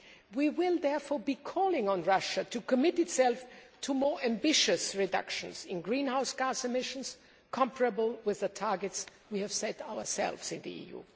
We will therefore be calling on Russia to commit itself to more ambitious reductions in greenhouse gas emissions, comparable with the targets we have set ourselves in the EU.